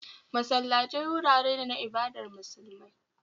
Masallatai wurare ne na ibadar musulmai